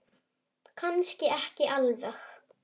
Kannski ekki alveg.